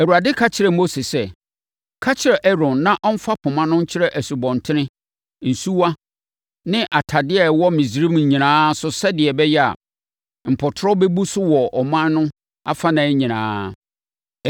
Awurade ka kyerɛɛ Mose sɛ, “Ka kyerɛ Aaron na ɔmfa poma no nkyerɛ nsubɔntene, nsuwa ne atadeɛ a ɛwɔ Misraim nyinaa so sɛdeɛ ɛbɛyɛ a, mpɔtorɔ bɛbu so wɔ ɔman no afanan nyinaa.”